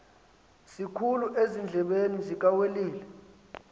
sikhulu ezindlebeni zikawelile